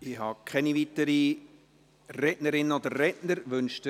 Ich habe keine weiteren Rederinnen und Redner auf der Liste.